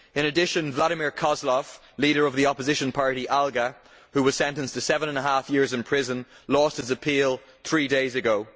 In addition, Vladimir Kozlov, the leader of the opposition party ALGA who was sentenced to seven and a half years in prison, lost his appeal three days ago.